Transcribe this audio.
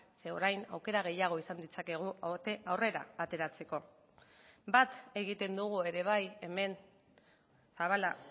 zeren orain aukera gehiago izan ditzakegu aurrera ateratzeko bat egiten dugu ere bai hemen zabala